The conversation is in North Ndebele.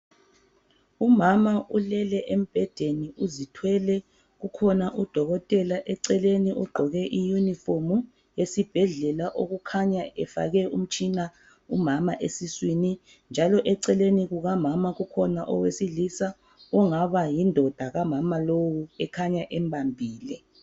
Umama ulele embhedeni uzithwele, kukhona udokotela eceleni ugqoke iyunifomu. Esibhedlela kukhanya efake umtshina umama esiswini njalo eceleni kukamama kukhona owesilisa ongaba yindoda kamama lowu ekhanya embambile.